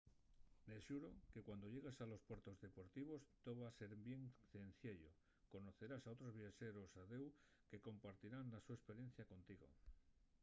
de xuru que cuando llegues a los puertos deportivos too va a ser bien cenciello conocerás a otros viaxeros a deu que compartirán la so esperiencia contigo